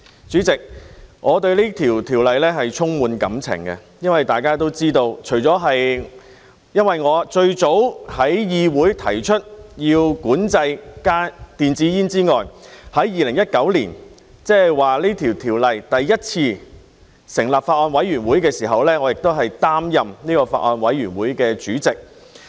主席，我對《條例草案》充滿感情，大家都知道，除了因為我是最早在議會提出要管制電子煙的人之外，在2019年，即《條例草案》第一次成立法案委員會的時候，我亦擔任這個法案委員會的主席。